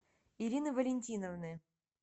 ирины валентиновны